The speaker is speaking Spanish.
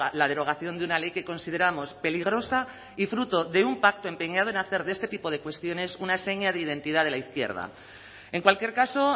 la derogación de una ley que consideramos peligrosa y fruto de un pacto empeñado en hacer de este tipo de cuestiones una seña de identidad de la izquierda en cualquier caso